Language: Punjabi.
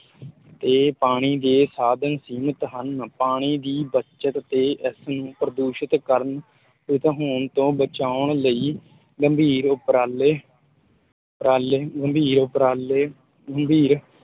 ਤੇ ਪਾਣੀ ਦੇ ਸਾਧਨ ਸੀਮਤ ਹਨ, ਪਾਣੀ ਦੀ ਬੱਚਤ ਤੇ ਇਸ ਨੂੰ ਪ੍ਰਦੂਸ਼ਤ ਕਰਨ ਹੋਣ ਤੋਂ ਬਚਾਉਣ ਲਈ ਗੰਭੀਰ ਉੱਪਰਾਲੇ ਉੱਪਰਾਲੇ ਗੰਭੀਰ ਉੱਪਰਾਲੇ ਗੰਭੀਰ